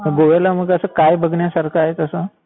गोव्याला मग असं काय बघण्यासारखं आहे तसं?